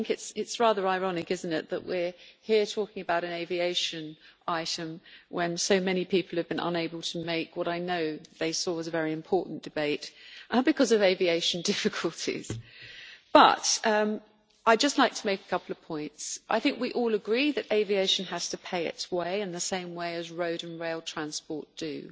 It is rather ironic that we are here talking about an aviation item, when so many people have been unable to make what I know they saw as a very important debate, and because of aviation difficulties. I would just like to make a couple of points I think we all agree that aviation has to pay its way in the same way as road and rail transport do,